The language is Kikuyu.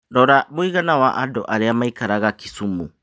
rora mũigana wa andũ arĩa maĩkaraga Kisumu